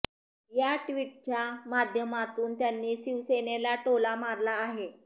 या ट्विटच्या माध्यमातून त्यांनी शिवसेनेला टोला मारला आहे